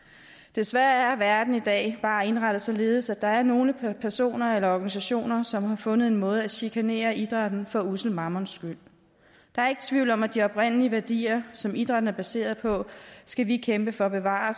desværre er verden i dag bare indrettet således at der er nogle personer eller organisationer som har fundet en måde at chikanere idrætten for ussel mammons skyld der er ikke tvivl om at de oprindelige værdier som idrætten er baseret på skal vi kæmpe for at bevare